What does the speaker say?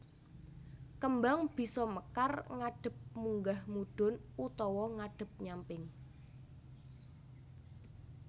Kembang bisa mekar ngadhep munggah mudhun utawa ngadhep nyamping